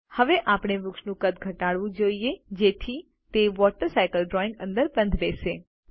હવે આપણે વૃક્ષનું કદ ઘટાડવું જોઈએ જેથી તે વોટર સાયકલ ડ્રોઈંગ અંદર બંધબેસે